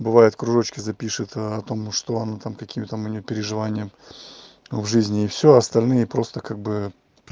бывает кружочки запишет о том что она там какие там у неё переживания в жизни и всё остальные просто как-бы